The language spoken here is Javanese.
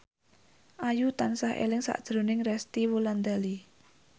Ayu tansah eling sakjroning Resty Wulandari